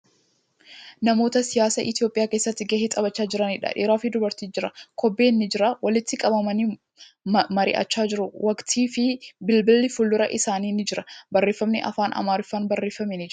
Namoota siyaasa Itiyoophiyaa keessatti gahee taphachaa jiraniidha. Dhiira fii dubartiitu jira. Kobbeen ni jira. Walitti qabamanii mari'achaa jiru. Waraqatnii fii bilbilli fuuldura isaanii ni jira. Barreeffamni afaan Amaariffaan barreeffame ni jira.